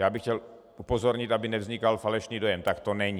Já bych chtěl upozornit, aby nevznikal falešný dojem - tak to není.